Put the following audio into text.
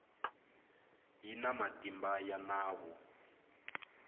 yi na matimba ya nawu